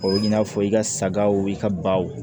O ye i n'a fɔ i ka sagaw i ka baw